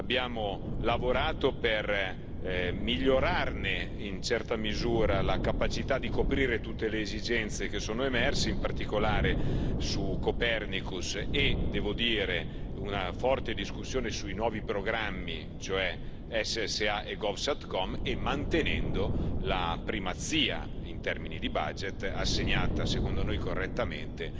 Abbiamo lavorato per migliorarne, in una certa misura, la capacità di coprire tutte le esigenze che sono emerse, in particolare su Copernicus e, devo dire, una forte discussione sui nuovi programmi, cioè SSA e GOVSATCOM, e mantenendo la primazia in termini di budget assegnata, secondo noi correttamente,